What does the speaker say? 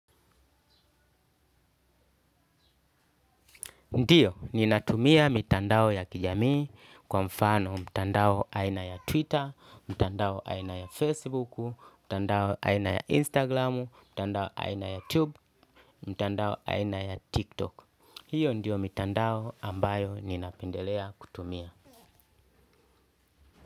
Ndio, ninatumia mitandao ya kijamii kwa mfano mitandao aina ya Twitter, mitandao aina ya Facebook, mitandao aina ya Instagram, mitandao aina ya YouTube, mitandao aina ya TikTok. Hio ndio mitandao ambayo ninapendelea kutumia.